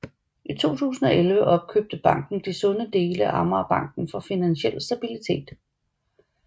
I 2011 opkøbte banken de sunde dele af Amagerbanken fra Finansiel Stabilitet